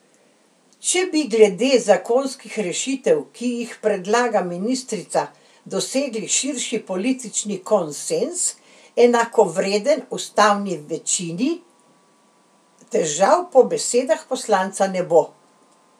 Če bi glede zakonskih rešitev, ki jih predlaga ministrica, dosegli širši politični konsenz, enakovreden ustavni večini, težav po besedah poslanca ne bo.